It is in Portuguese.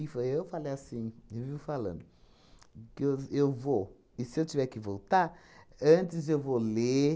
eu falei assim, vivo falando, que eu eu vou, e se eu tiver que voltar, antes eu vou ler